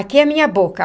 Aqui é a minha boca.